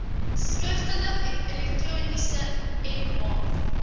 skriftelik elektronies mh